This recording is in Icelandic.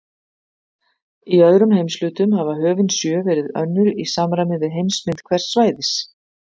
Í öðrum heimshlutum hafa höfin sjö verið önnur í samræmi við heimsmynd hvers svæðis.